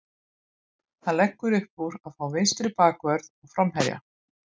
Hann leggur uppúr að fá vinstri bakvörð og framherja.